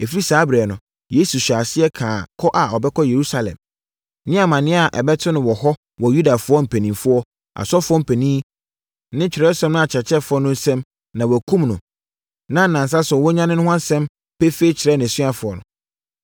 Ɛfiri saa ɛberɛ no, Yesu hyɛɛ aseɛ kaa kɔ a ɔbɛkɔ Yerusalem, ne amaneɛ a ɛbɛto no wɔ hɔ wɔ Yudafoɔ mpanin, asɔfoɔ mpanin ne twerɛsɛm no akyerɛkyerɛfoɔ no nsam na wɔakum no, na nnansa so no wanyane no ho asɛm pefee kyerɛɛ nʼasuafoɔ no.